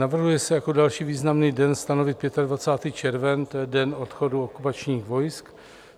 Navrhuje se jako další významný den stanovit 25. červen, to je den odchodu okupačních vojsk.